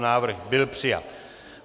Návrh byl přijat.